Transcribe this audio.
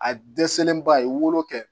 A dɛsɛlen ba a ye wolo kɛ